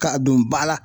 K'a don ba la